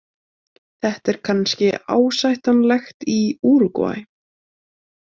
Þetta er kannski ásættanlegt í Úrúgvæ.